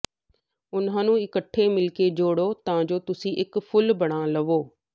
ਉਹਨਾਂ ਨੂੰ ਇਕੱਠੇ ਮਿਲ ਕੇ ਜੋੜੋ ਤਾਂ ਜੋ ਤੁਸੀਂ ਇੱਕ ਫੁੱਲ ਬਣਾ ਲਵੋ